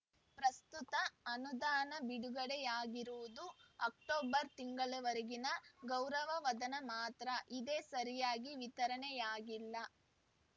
ಪ್ರಸ್ತುತ ಅನುದಾನ ಬಿಡುಗಡೆಯಾಗಿರುವುದು ಅಕ್ಟೋಬರ್‌ ತಿಂಗಳವರೆಗಿನ ಗೌರವಧನ ಮಾತ್ರ ಇದೇ ಸರಿಯಾಗಿ ವಿತರಣೆಯಾಗಿಲ್ಲ